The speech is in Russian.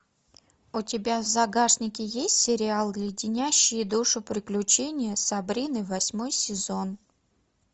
у тебя в загашнике есть сериал леденящие душу приключения сабрины восьмой сезон